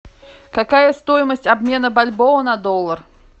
какая стоимость обмена бальбоа на доллар